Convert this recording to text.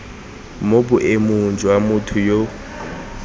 mo boemong jwa motho yo